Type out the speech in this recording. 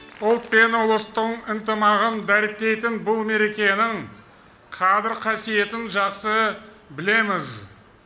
ұлт пен ұлыстың ынтымағын дәріптейтін бұл мерекенің қадір қасиетін жақсы білеміз